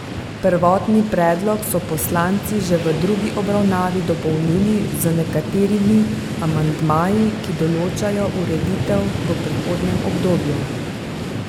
Prvotni predlog so poslanci že v drugi obravnavi dopolnili z nekaterimi amandmaji, ki določajo ureditev v prehodnem obdobju.